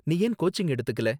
நீ ஏன் கோச்சிங் எடுத்துக்கல?